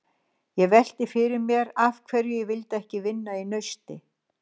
Ég velti því fyrir mér af hverju ég vildi ekki vinna í Nausti.